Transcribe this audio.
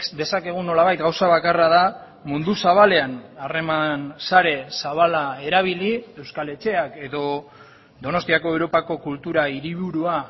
dezakegun nolabait gauza bakarra da mundu zabalean harreman sare zabala erabili euskal etxeak edo donostiako europako kultura hiriburua